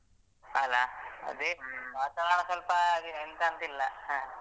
ಅಲಾ ಅದೇ ವಾತಾವರಣ ಸ್ವಲ್ಪ ಹಾಗೆನೆ ಎಂತಂತ ಇಲ್ಲ ಹ.